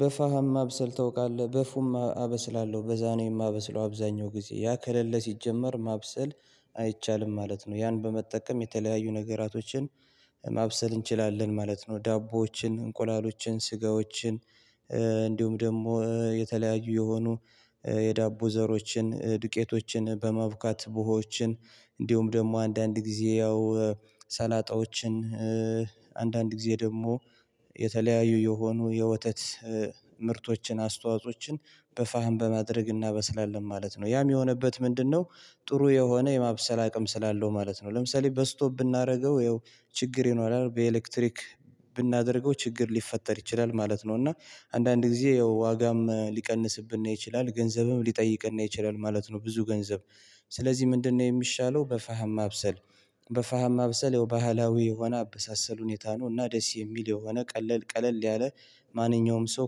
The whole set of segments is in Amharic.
በፋሃም ማብሰል ታውቃለህ በፉም አበስላለሁ በዛኔ የማበስለው አብዛኛው ጊዜ ያ ከለለ ሲጀመር ማብሰል አይቻልም ማለት ነው። ያን በመጠቀም የተለያዩ ነገራቶችን ማብሰል እንችላለን ማለት ነው። ዳቦዎችን እንቁላሎችን ስጋዎችን እንዲሁም ደግሞ የተለያዩ የሆኑ የዳቦ ዘሮችን ዱቄቶችን በማብካት ቡሆችን እንዲሁም ደግሞ አንዳንድ ጊዜ ያው ሰላጣዎችን አንዳንድ ጊዜ ደግሞ የተለያዩ የሆኑ የወተት ምርቶችን አስተዋጾችን በፋህን በማድረግ እናበስላለን ማለት ነው። ያ የሚሆንበት ምንድነው? ጥሩ የሆነ የማብሰል አቅም ስላለው ማለት ነው። ለምሳሌ በስቶፕ ብናደርገው ያው ችግር ይኖራል። ብናደርገው ችግር ሊፈጠር ይችላል ማለት ነው። እና አንዳንድ ጊዜ ያው ዋጋም ሊቀንስብን ይችላል ገንዘብም ሊጠይቅነ ይችላል ማለት ነው። ብዙ ገንዘብ ስለዚህ ምንድነው የሚሻለው? በፋሃማ አብሰል በፋሃማ ማብሰል የባህላዊ የሆነ አበሳሰል ሁኔታ ነው። እና ደስ የሚል የሆነ ቀለል ቀለል ያለ ማንኛውም ሰው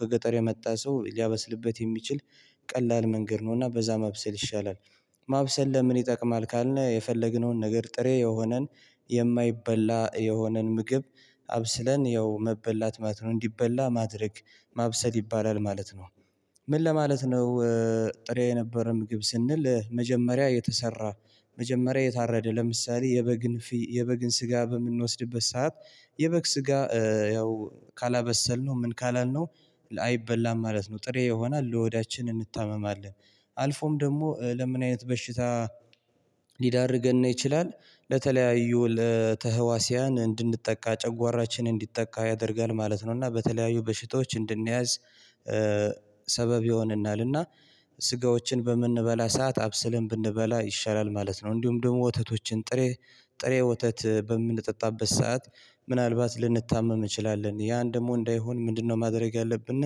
ከገጠር የመጣ ሰው ሊያበስልበት የሚችል ቀላል መንገድ ነው። እና በዛ መብሰል ይሻላል። ማብሰል ለምን ይጠቅማል? ካልነህ የፈለግነውን ነገር ጥሬ የሆነን የማይበላ የሆነን ምግብ አብስለን ያው መብላት ማለት ነው። እንዲበላ ማድረግ ማብሰል ይባላል ማለት ነው። ምን ለማለት ነው? ጥሬ የነበረም ግብ ስንል መጀመሪያ የተሰራ መጀመሪያ የታረደ ለምሳሌ የበግን የበግን ስጋ በምንወስድበት ሰዓት የበግ ስጋ ያው ካላበሰልነው ምን ካላልነው አይበላም ማለት ነው። ጥሬ ይሆናል ለሆዳችን እንታመማለን። አልፎም ደግሞ ለምን አይነት በሽታ ሊዳርገን ይችላል። ለተለያዩ ለተህዋሲያን እንድንጠቃ ጨጓራችን እንዲጠቃ ያደርጋል ማለት ነው። እና በተለያዩ በሽታዎች እንድንያዝ ሰበብ ይሆንናል። ስጋዎችን በምንበላ ሰዓት አብስልን ብንበላ ይሻላል ማለት ነው። እንዲሁም ደግሞ ወተቶችን ጥሬ ጥሬ ወተት በምንጠጣበት ሰዓት ምናልባት ልንታመም እንችላለን። ያን ደግሞ እንዳይሆን ምንድነው ማድረግ ያለብን?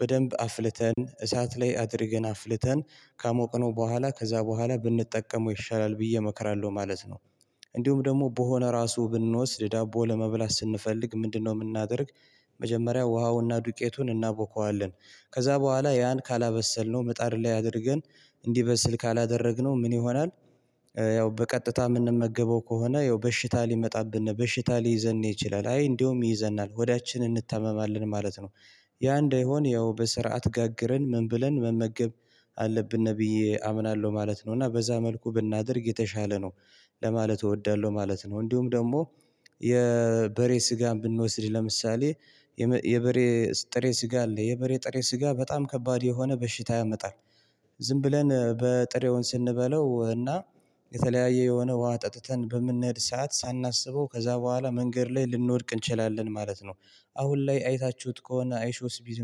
በደንብ አፍልተን እሳት ላይ አድርገን አፍልተን ካሞቅነው በኋላ ከዛ በኋላ ብንጠቀመው ይሻላል ብዬ እመክራለሁ ማለት ነው። እንዲሁም ደግሞ ቡሆ ለራሱ ብንወስድ ዳቦ ለመብላት ስንፈልግ ምንድነው የምናደርግ? መጀመሪያ ውሃውና ዱቄቱን እናውቀዋለን። ከዛ በኋላ ያን ካላበሰልነው ምጣድ ላይ አድርገን እንዲበስል ካላደረግነው ምን ይሆናል? ያው በቀጥታ የምንመገበው ከሆነ ያው በሽታ ሊመጣብን በሽታ ሊይዘን ይችላል አይ እንደውም ይዘናል ሆዳችንን እንታመማለን ማለት ነው። ያ እንዳይሆን ያው በስርዓት ጋግረን ምን ብለን መመገብ? አለብን ነብዬ አምናለሁ ማለት ነው። እና በዛ መልኩ ብናደርግ የተሻለ ነው። ለማለት እወዳለሁ ማለት ነው። እንዲሁም ደግሞ የበሬ ስጋን ብንወስድ ለምሳሌ የበሬ ጥሬ ስጋ አለ የበሬ ጥሬ ስጋ በጣም ከባድ የሆነ በሽታ ያመጣል። ዝም ብለን በጥሬውን ስንበለው እና የተለያየ የሆነ ውሃ ጠጥተን በምንሄድ ሰዓት ሳናስበው ከዛ በኋላ መንገድ ላይ ልንወድቅ እንችላለን ማለት ነው። አሁን ላይ አይታችሁት ከሆነ አይሾስ ቢድ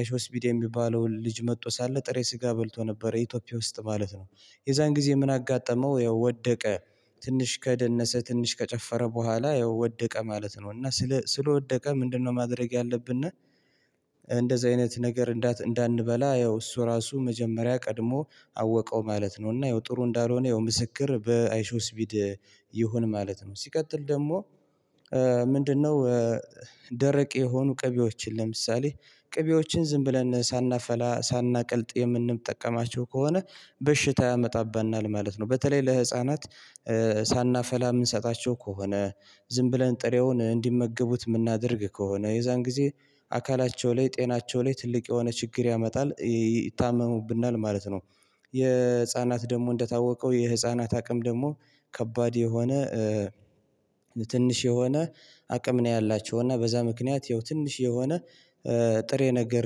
አይሾስ ቢድ የሚባለው ልጅ መጥቶ ሳለ ጥሬ ስጋ በልቶ ነበር ኢትዮጵያ ውስጥ ማለት ነው። የዛን ጊዜ ምን አጋጠመው? ያው ወደቀ ትንሽ ከደነሰ ትንሽ ከጨፈረ በኋላ ያው ወደቀ ማለት ነው። እና ስለ ስለወደቀ ምንድነው ማድረግ ያለብነ? እንደዚህ አይነት ነገር እንዳንበላ ያው እሱ ራሱ መጀመሪያ ቀድሞ አወቀው ማለት ነው። እና ጥሩ እንዳልሆነ ምስክር በአይሾስቢድ ይሆን ማለት ነው። ሲቀጥል ደግሞ ምንድነው? ደረቅ የሆኑ ቅቤዎችን ለምሳሌ ቅቤዎችን ዝም ብለን ሳናፈላ ሳናቀልጥ የምንጠቀማቸው ከሆነ በሽታ ያመጣብናል ማለት ነው። በተለይ ለህፃናት ሳናፈላ የምንሰጣቸው ከሆነ ዝም ብለን ጥሬውን እንዲመገቡት የምናደርግ ከሆነ የዛን ጊዜ አካላቸው ላይ ጤናቸው ላይ ትልቅ የሆነ ችግር ያመጣል ይታመሙብናል ማለት ነው። የህፃናት ደግሞ እንደታወቀው የህፃናት አቅም ደግሞ ከባድ የሆነ ትንሽ የሆነ አቅም ነው። ያላቸው እና በዛ ምክንያት ትንሽ የሆነ ጥሬ ነገር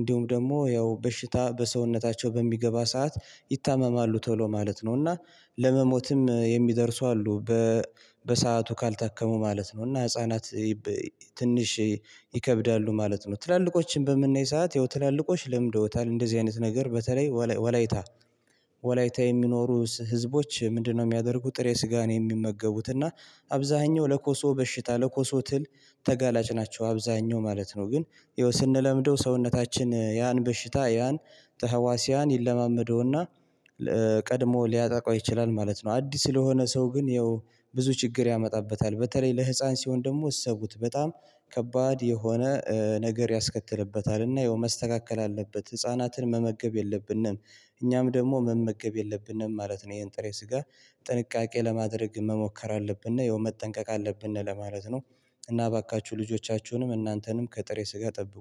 እንዲሁም ደግሞ ያው በሽታ በሰውነታቸው በሚገባ ሰዓት ይታመማሉ ቶሎ ማለት ነው። እና ለመሞትም የሚደርሱ አሉ። በሰአቱ ካልታከሙ ማለት ነው። እና ህፃናት ትንሽ ይከብዳሉ ማለት ነው። ትላልቆችን በምናይ ሰዓት ያው ትላልቆች ለምደውታል እንደዚህ አይነት ነገር በተለይ ወላይታ። ወላይታ የሚኖሩ ህዝቦች ምንድነው? የሚያደርጉ ጥሬ ስጋ ነው የሚመገቡት እና አብዛኛው ለኮሶ በሽታ ለኮሶ ትል ተጋላጭ ናቸው። አብዛኛው ማለት ነው። ግን ያው ስንለምደው ሰውነታችን ያን በሽታ ያን ተሀዋሲያን ይለማመደውና ቀድሞ ሊያጠቃው ይችላል ማለት ነው። አዲስ ስለሆነ ሰው ግን ያው ብዙ ችግር ያመጣበታል በተለይ ለህፃን ሲሆን ደግሞ እሰቡት በጣም ከባድ የሆነ ነገር ያስከትልበታል። እና መስተካከል አለበት ህፃናትን መመገብ የለብንም እኛም ደግሞ መመገብ የለብንም ማለት ነው። ይሄን ጥሬ ስጋ ጥንቃቄ ለማድረግ መሞከር አለብንና የሆነ መጠንቀቅ አለብንና ለማለት ነው። እና እባካችሁ ልጆቻችሁንም እናንተንም ከጥሬ ስጋ ጠብቁ